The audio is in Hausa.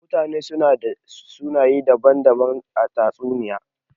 Mutane su na da sunaye daban-daban a tatsuniya.